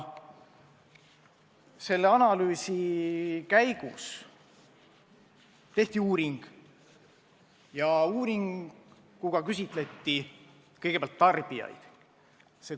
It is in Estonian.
Selle analüüsi käigus tehti uuring, mille käigus küsitleti kõigepealt tarbijaid.